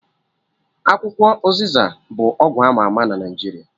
Akwukwo ụzịza bụ ọgwụ ama ama na Naijiria